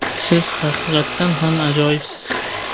Siz haqiqatan ham ajoyibsiz.